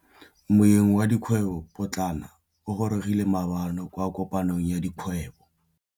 Moêng wa dikgwêbô pôtlana o gorogile maabane kwa kopanong ya dikgwêbô.